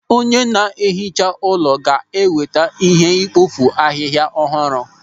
Onye ná-ehicha ụlọ ga-eweta ihe ikpofu ahịhịa ọhụrụ.